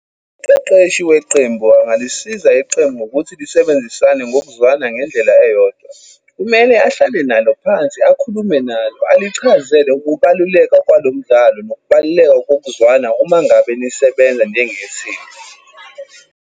Umqeqeshi weqembu angalisiza iqembu ngokuthi lisebenzisane ngokuzwana ngendlela eyodwa. Kumele ahlale nalo phansi, akhulume nalo, alichazele ukubaluleka kwalomdlalo, nokubaluleka kokuzwana uma ngabe nisebenza njengethimba.